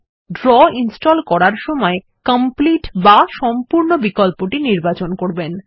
মনে রাখবেন draw install করার সময় কমপ্লিট বা সম্পূর্ণ বিকল্পটি নির্বাচন করবেন